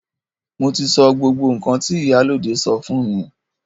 Mo ti sọ gbogbo nkan ti ìyálóde sọ fún mi.